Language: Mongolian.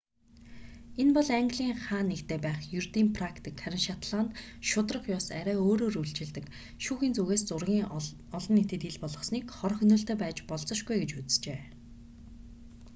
энэ бол английн хаа нэгтээ байх ердийн практик харин шотланд шударга ёс арай өөрөөр үйлчилдэг шүүхийн зүгээс зургийг олон нийтэд ил болгосныг хор хөнөөлтэй байж болзошгүй гэж үзжээ